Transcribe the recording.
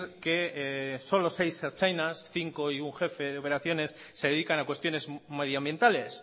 que solo seis ertzainas cinco y un jefe de operaciones se dedican a cuestiones medioambientales